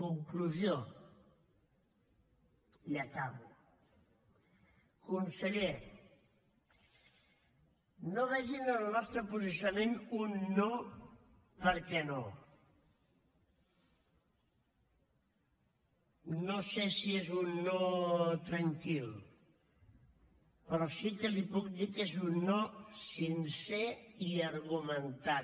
conclusió i acabo conseller no vegin en el nostre posicionament un no perquè no no sé si és un no tranquil però sí que li puc dir que és un no sincer i argumentat